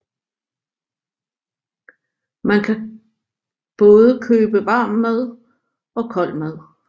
Man kan både købe varm mad og kold mad